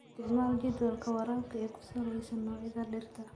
Isticmaal jadwalka waraabka ee ku salaysan noocyada dhirta.